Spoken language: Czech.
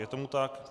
Je tomu tak.